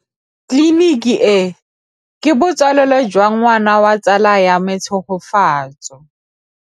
Tleliniki e, ke botsalêlô jwa ngwana wa tsala ya me Tshegofatso.